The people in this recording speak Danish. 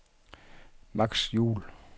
Max Juul